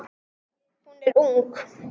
Hún er ung.